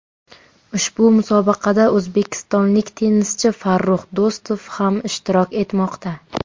Ushbu musobaqada o‘zbekistonlik tennischi Farrux Do‘stov ham ishtirok etmoqda.